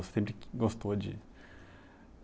Você sempre gostou de